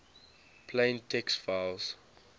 plain text files